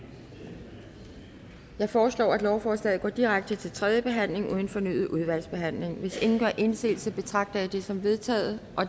jeg foreslår at lovforslaget går direkte til tredje behandling uden fornyet udvalgsbehandling hvis ingen gør indsigelse betragter jeg det som vedtaget